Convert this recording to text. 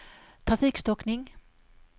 trafikstockning